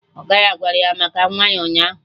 Ọga ya gwara ya maka nwa ya ụnyaahụ